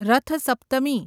Rath Saptami